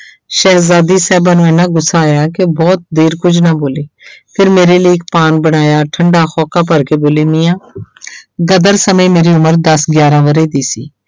ਸ਼ਹਿਜਾਦੀ ਸਾਹਿਬਾਂ ਨੂੰ ਇੰਨਾ ਗੁੱਸਾ ਆਇਆ ਕਿ ਬਹੁਤ ਦੇਰ ਕੁੱਝ ਨਾ ਬੋਲੀ ਫਿਰ ਮੇਰੇ ਲਈ ਇੱਕ ਪਾਨ ਬਣਾਇਆ ਠੰਢਾ ਹੋਂਕਾ ਭਰਕੇ ਬੋਲੀ ਮੀਆਂ ਗਦਰ ਸਮੇਂ ਮੇਰੀ ਉਮਰ ਦਸ ਗਿਆਰਾਂ ਵਰੇ ਦੀ ਸੀ।